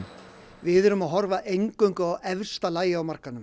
við erum að horfa eingöngu á efsta lagið á markaðnum